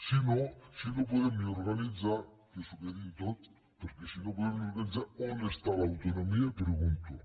si no si no podem ni organitzar que s’ho quedin tot perquè si no podem ni organitzar on està l’autonomia pregunto